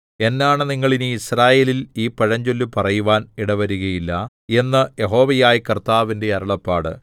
എന്നാണ നിങ്ങൾ ഇനി യിസ്രായേലിൽ ഈ പഴഞ്ചൊല്ല് പറയുവാൻ ഇടവരുകയില്ല എന്ന് യഹോവയായ കർത്താവിന്റെ അരുളപ്പാട്